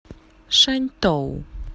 шаньтоу